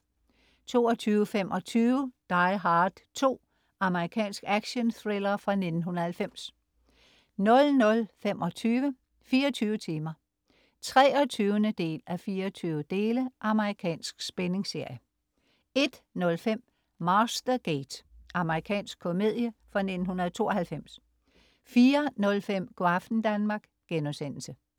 22.25 Die Hard 2. Amerikansk actionthriller fra 1990 00.25 24 timer 23:24. Amerikansk spændingsserie 01.05 Mastergate. Amerikansk komedie fra 1992 04.05 Go' aften Danmark*